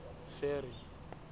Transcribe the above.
ferry